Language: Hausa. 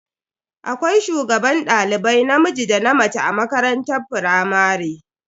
Akwai shugaban dalibai namiji da na mace a makarantar firamare.